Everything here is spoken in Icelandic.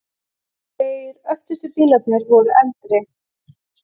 Tveir öftustu bílarnir voru eldri.